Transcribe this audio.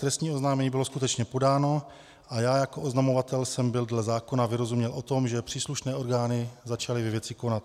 Trestní oznámení bylo skutečně podáno a já jako oznamovatel jsem byl dle zákona vyrozuměn o tom, že příslušné orgány začaly ve věci konat.